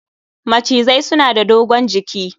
Macizai suna da dogon jiki